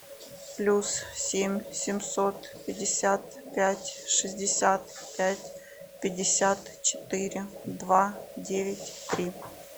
плюс семь семьсот пятьдесят пять шестьдесят пять пятьдесят четыре два девять три